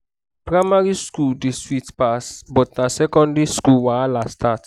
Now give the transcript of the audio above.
primary school days sweet pass but na secondary school wahala start.